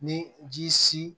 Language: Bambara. Ni ji si